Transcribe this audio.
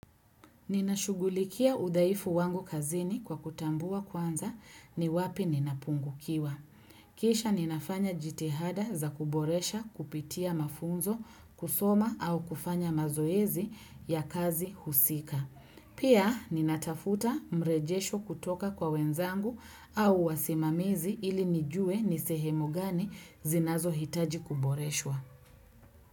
Ninashugulikia udhaifu wangu kazini kwa kutambua kwanza ni wapi ninapungukiwa. Kisha ninafanya jitihada za kuboresha kupitia mafunzo kusoma au kufanya mazoezi ya kazi husika. Pia ninatafuta mrejesho kutoka kwa wenzangu au wasimamizi ili nijue ni sehemu gani zinazo hitaji kuboreshwa.